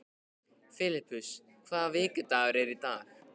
Filippus, hvaða vikudagur er í dag?